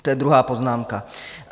To je druhá poznámka.